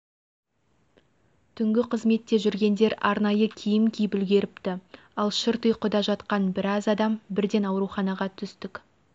түнгі қызметте жүргендер арнайы киім киіп үлгеріпті ал шырт ұйқыда жатқан біраз адам бірден ауруханаға түстік